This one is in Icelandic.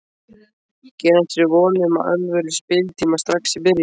Gerir hann sér vonir um alvöru spiltíma strax í byrjun?